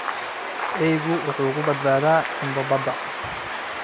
Eeygu wuxuu ku badbaadaa xumbo badda